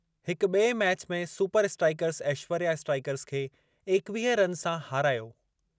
हिक बि॒ए मैच में सुपर स्ट्राइकर्स ऐश्वर्या स्ट्राइकर्स खे एकवीह रन सां हारायो।